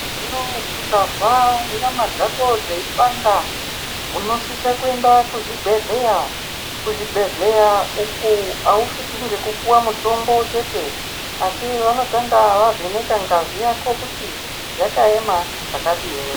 Hono ukazwa nyama dzako dzeipanda unosisa kuenda kuzvibhehleya . Kuzvibhedhleya uku awusviki ngekupuwa mutombo chete asi vanotanga vavheneka ngazi yako kuti yakaema zvakadini.